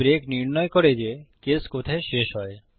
এই ব্রেক নির্ণয় করে যে কেস কোথায় শেষ হয়